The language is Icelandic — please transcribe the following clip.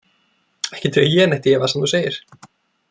Ekki dreg ég neitt í efa sem þú segir.